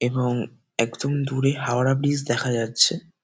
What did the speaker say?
এবং একদম দূরে হাওড়া ব্রিজ দেখা যাচ্ছে।